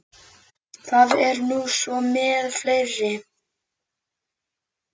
Það er nú svo með fleiri.